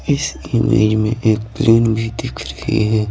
इस इमेज में एक प्लेन भी दिख रही है।